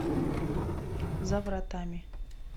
за вратами